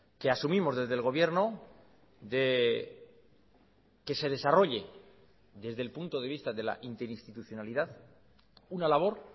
que asumimos desde el gobierno de que se desarrolle desde el punto de vista de la interinstitucionalidad una labor